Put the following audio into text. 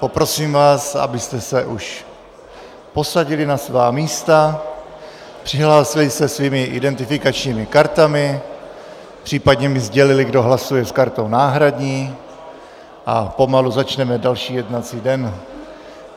Poprosím vás, abyste se už posadili na svá místa, přihlásili se svými identifikačními kartami, případně mi sdělili, kdo hlasuje s kartou náhradní, a pomalu začneme další jednací den.